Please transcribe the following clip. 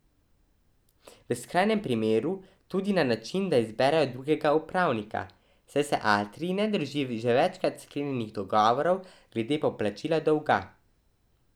V skrajnem primeru tudi na način, da izberejo drugega upravnika, saj se Atrij ne drži že večkrat sklenjenih dogovorov glede poplačila dolga.